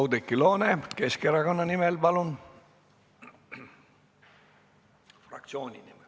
Oudekki Loone Keskerakonna fraktsiooni nimel, palun!